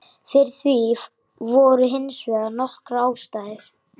Fyrir því voru hins vegar nokkrar ástæður.